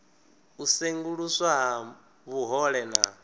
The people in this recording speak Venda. u senguluswa ha vhuhole na